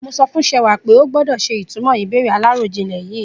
Mo sọ fún Sewà pé ó gbọ́dọ̀ ṣe ìtumọ̀ ìbéèrè aláròjinlè yìí.